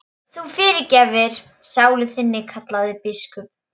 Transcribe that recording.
Þú fyrirgerir sálu þinni, kallaði biskup.